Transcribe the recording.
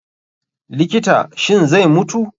likta, shin zai mutu?